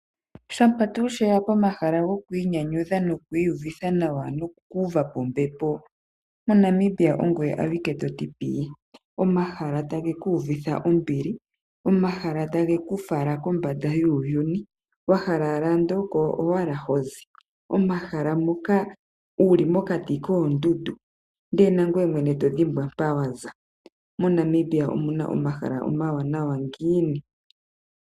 Shampa tuu she ya pomahala gokwiinyanyudha nokwiiyuvitha nawa nokuuva po ombepo moNamibia ongoye awike to ti pii. Omahala taga ku uvitha ombili, omahala tage ku fala kombanda yuuyuni, wa hala andola oko owala ho zi, omahala moka wu li mokati koondundu, ndele nangoye to dhimbwa mpa wa za. MoNamibia omu na omahala omawanawa ngiini?